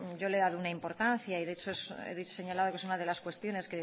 yo le he dado una importancia y de hecho he señalado que es una de las cuestiones